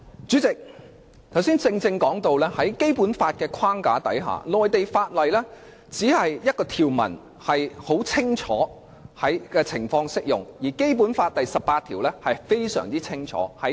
主席，剛才說到在《基本法》的框架下，第十八條清楚訂明內地法例在何種情況下可在香港實施，而有關規定是非常清楚的。